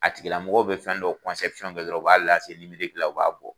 A tigi lamɔgɔ bɛ fɛn dɔ kɛ dɔrɔn u b'a u b'a bɔ.